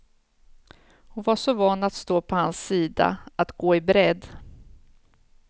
Hon var så van att stå på hans sida, att gå i bredd.